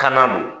Kan na don